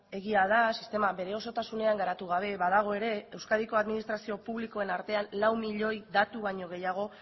egia da sistema bere osotasunean garatu gabe badago ere euskadiko administrazio publikoen artean lau miloi datu baino gehiago